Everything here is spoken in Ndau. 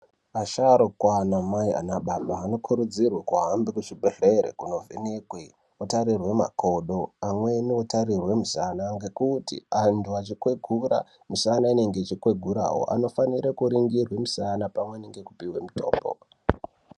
Asharuka anamai anababa anokuridzirwa kuhambe kuzvibhedhlera kuno vhenekwa kuno tarirwe makodo anweni otarirwe musana nekuti antu achi kwegura misana inenge yeikwegurawo anofanirwe kuningirwa musana opiwa mitombo.